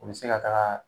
U bɛ se ka taga